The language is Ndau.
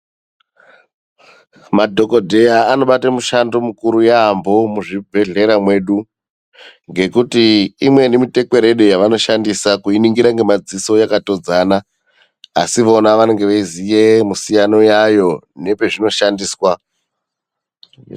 Madhokodheya anobate mushando mukuru yaambo muzvibhedhlera mwedu, ngekuti imweni mitekwerede yevanoshandisa kuiningira ngemadziso yakatodzana. Asi vona vanenge veiziya misiyano yayo nepezvinoshandiswa.